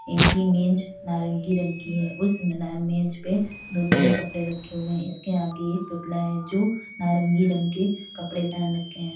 इनकी मेज नारंगी रंग की है उसपे दो तीन कपड़े रखे हुए हैं इसके आगे एक पुतला है जो नारंगी रंग के कपड़े पहन रखे हैं।